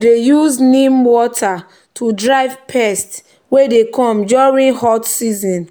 we dey use neem water to drive pests wey dey come during hot season.